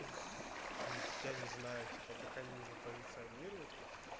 я не знаю типа как они его позиционируют